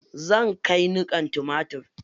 Zan kai niƙan tumatir.